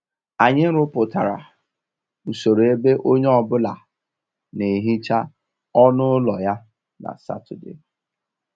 Anyị rụpụtara usoro ebe onye ọ bụla na-ehicha ọnụ ụlọ ya na Satọde